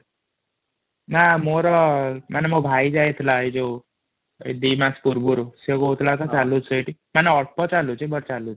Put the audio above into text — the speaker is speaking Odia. ନା ମୋର ମାନେ ମୋ ଭାଇ ଯାଇଥିଲା ଏ ଯୋଉ ଦି ମାସ ପୂର୍ବରୁ ମାନେ ଅଳ୍ପ ଚଉଛି ମାନେ ଚଳୁଛି |